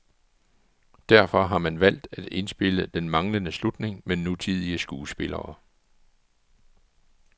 Derfor har man valgt at indspille den manglende slutning med nutidige skuespillere.